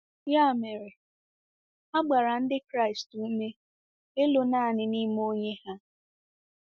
Ya mere, a gbara Ndị Kraịst ume ịlụ nanị n’ime Onye ha.